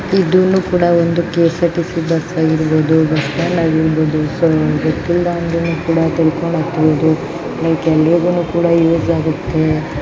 ಇದು ಒಂದು ಕೂಡ ಕೆ. ಸಾರ್. ಟಿ.ಸಿ. ಬಸ್ ಆಗಿರಬಹುದು.